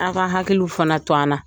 A ka hakiliw fana to an na.